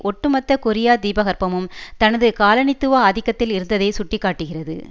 ஒட்டுமொத்த கொரியா தீபகற்பமும் தனது காலனித்துவ ஆதிக்கத்தில் இருந்ததை சுட்டி காட்டுகிறது